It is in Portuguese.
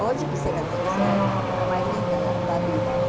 Hoje quisera ter essa época mais linda da da vida, né?